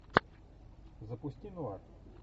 запусти нуар